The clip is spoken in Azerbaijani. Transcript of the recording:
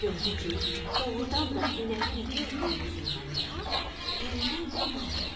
Gördü ki, doğrudan da inəyin bir buynuzundan yağ, birindən də bal gəlir.